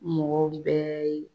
Mɔgɔw bɛɛ ye